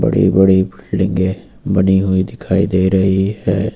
बड़ी बड़ी बिल्डिंगे बनी हुई दिखाई दे रही है।